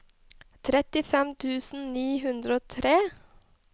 trettifem tusen ni hundre og tre